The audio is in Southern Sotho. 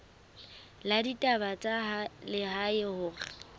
la ditaba tsa lehae hore